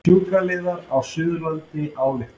Sjúkraliðar á Suðurlandi álykta